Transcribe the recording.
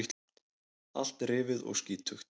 Allt rifið og skítugt.